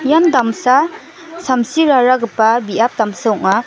ian damsa samsiraragipa biap damsa ong·a.